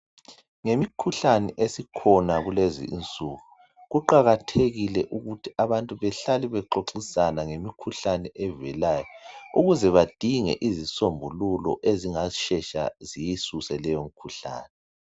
Ngemikhuhlane esikhona kulezinsuku. Kuqakathekile ukuthi abantu behlale bexoxisana ngemikhuhlane evelayo ukuze badinge izisombululo ezingashesha ziyisuse leyomikhuhlane.